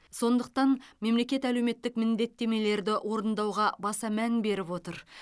сондықтан мемлекет әлеуметтік міндеттемелерді орындауға баса мән беріп отыр